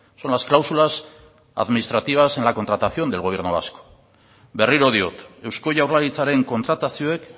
son las cláusulas administrativas en la contratación del gobierno vasco berriro diot eusko jaurlaritzaren kontratazioek